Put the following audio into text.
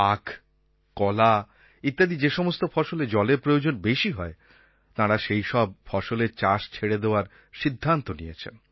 আখ কলা ইত্যাদি যে সমস্ত ফসলে জলের প্রয়োজন বেশি হয় তাঁরা সেই সমস্ত ফসলের চাষ ছেড়ে দেওয়ার সিদ্ধান্ত নিয়েছেন